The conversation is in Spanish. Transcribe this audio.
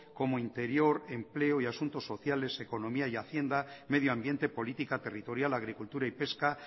como interior empleo y asuntos sociales economía y hacienda medioambiente política territorial agricultura y pesca